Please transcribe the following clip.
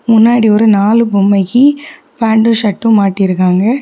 முன்னாடி ஒரு நாலு பொம்மைக்கு பேண்ட்டும் ஷர்ட்டும் மாட்டிருக்காங்க.